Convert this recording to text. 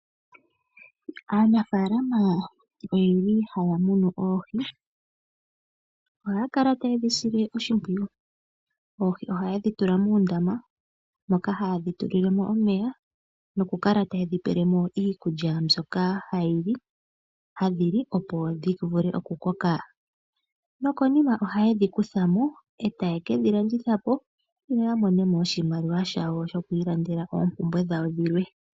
Anafaalama oyeli haya munu oohi, ohaya kala taye dhi sile oshipwiyu oohi ohaye dhi tula muundama moka haye dhi tulile mo uumeya noku kala taye dhi pele mo iikulya mbyoka ha dhili opo dhi vule oku koka, nokonima ohaye dhi kutha mo etaye kedhi landitha po yo yamone mo oshimaliwa shawo shoku ilandela oopumbwe dhawo dhilwe.